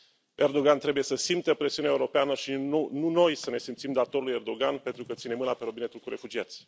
Erdoğan trebuie să simtă presiunea europeană, și nu noi să ne simțim datori lui Erdoğan pentru că ține mâna pe robinetul cu refugiați.